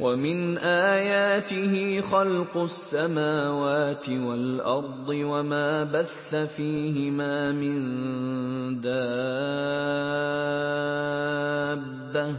وَمِنْ آيَاتِهِ خَلْقُ السَّمَاوَاتِ وَالْأَرْضِ وَمَا بَثَّ فِيهِمَا مِن دَابَّةٍ ۚ